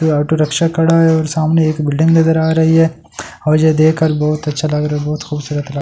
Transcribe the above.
ये auto rickshaw खड़ा है और सामने एक बिल्डिंग नजर आ रही है और यह देखकर बहुत अच्‍छा लग रहा है बहुत खूबसूरत लग रहा है ।